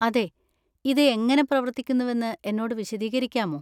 അതെ, ഇത് എങ്ങനെ പ്രവർത്തിക്കുന്നുവെന്ന് എന്നോട് വിശദീകരിക്കാമോ?